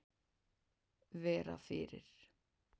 Vera fyrir.